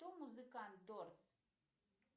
кто музыкант дорс